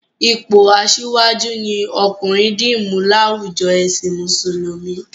Ipò asíwájú ni ọkùnrin dì mú láwùjo ẹ̀sìn Mùsùlùmí